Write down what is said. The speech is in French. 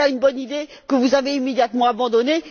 Voilà une bonne idée que vous avez immédiatement abandonnée.